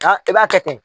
i b'a kɛ ten